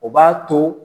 O b'a to